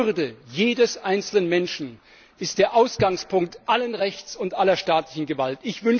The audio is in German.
Die Würde jedes einzelnen Menschen ist der Ausgangspunkt allen Rechts und aller staatlichen Gewalt.